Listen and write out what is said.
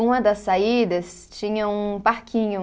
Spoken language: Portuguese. Uma das saídas tinha um parquinho.